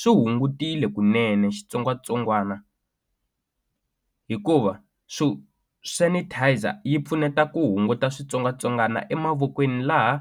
swi hungutile kunene xitsongwatsongwana hikuva so sanitizer yi pfuneta ku hunguta switsongwatsongwana emavokweni laha